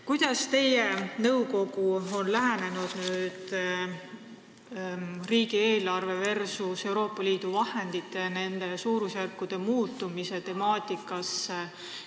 Kuidas on teie nõukogu lähenenud riigieelarve versus Euroopa Liidu vahendite suurusjärkude muutumise temaatikale?